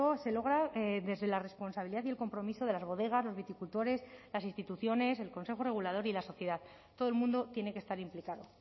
se logra desde la responsabilidad y el compromiso de las bodegas los viticultores las instituciones el consejo regulador y la sociedad todo el mundo tiene que estar implicado